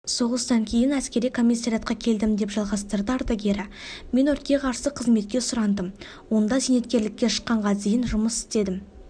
соғыстан кейін әскери комиссариатқа келдім деп жалғастырды ардагері мен өртке қарсы қызметке сұрандым онда зейнеткерлікке шыққанға дейін жұмыс істедім